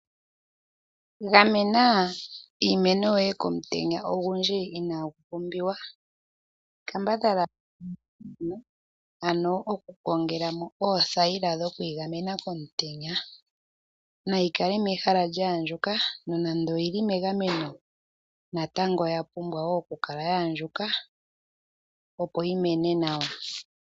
Gamena iimeno yoye komutenya ogundji inagu pumbiwa, kambadhala ano okukongela mo oothayila dhokuyigamena komutenya. Nayi kale mehala lya andjuka nonando oyili megameno, natango oya pumbwa wo okukala ya andjuka opo yi mene nawa.